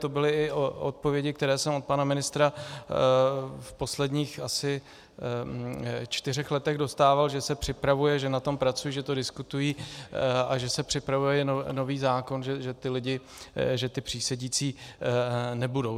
To byly i odpovědi, které jsem od pana ministra v posledních asi čtyřech letech dostával, že se připravuje, že na tom pracují, že to diskutují a že se připravuje nový zákon, že ti přísedící nebudou.